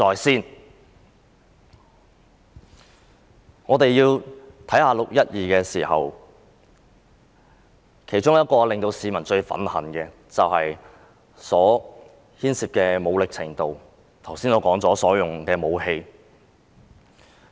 談論"六一二"事件時，當中令市民最憤恨的是所牽涉的武力程度，即我剛才提到警方所使用的武器。